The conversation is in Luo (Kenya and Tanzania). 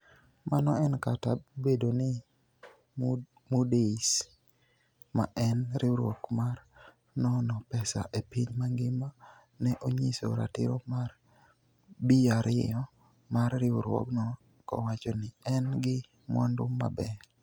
Mano en kata obedo ni Moody's, ma en riwruok mar nono pesa e piny mangima, ne onyiso ratiro mar B2 mar riwruogno kowacho ni en gi "mwandu maber. "